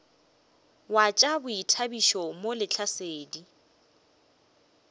wa tša boithabišo mo lehlasedi